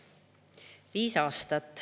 Viis aastat.